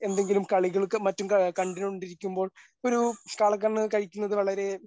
എന്തെങ്കിലും കളികൾക്കും മറ്റും കണ്ട് കൊണ്ടിരിക്കുമ്പോൾ ഒരു കാള കണ്ണ് കഴിക്കുന്നത് വളരെ